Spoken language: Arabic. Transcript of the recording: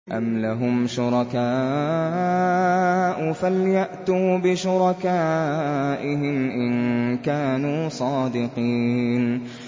أَمْ لَهُمْ شُرَكَاءُ فَلْيَأْتُوا بِشُرَكَائِهِمْ إِن كَانُوا صَادِقِينَ